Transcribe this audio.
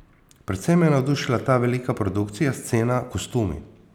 Predvsem me je navdušila ta velika produkcija, scena, kostumi.